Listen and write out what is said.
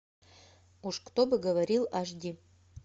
уж кто бы говорил аш ди